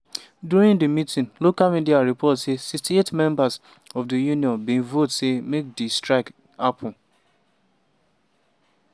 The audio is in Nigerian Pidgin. during di meeting local media report say 68 members of di union bin vote say make di strike happun.